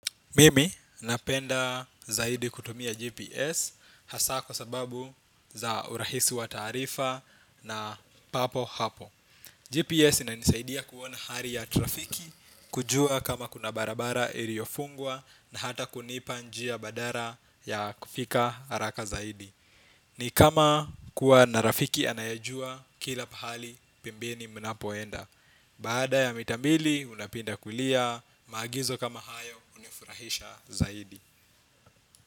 Mimi napenda zaidi kutumia GPS hasa kwa sababu za urahisi wa taarifa na papo hapo. GPS inanisaidia kuona hali ya trafiki, kujua kama kuna barabara iliyofungwa na hata kunipa njia badala ya kufika haraka zaidi. Ni kama kuwa na rafiki anayajua kila pahali pembeni mnapoenda. Baada ya mita mbili, unapinda kulia. Maagizo kama hayo hunifurahisha zaidi.